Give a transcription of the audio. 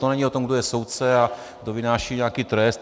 To není o tom, kdo je soudce a kdo vynáší nějaký trest.